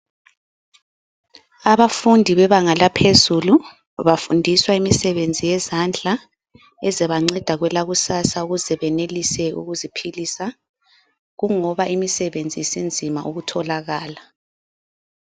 Abafundi bebanga laphezulu bafundiswa imisebenzi yezandla ezabanceda kwelakusasa ukuze beyenelise ukuziphilisa kungoba imisebenzi sinzima ukutholakala.